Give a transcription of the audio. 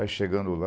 Aí chegando lá...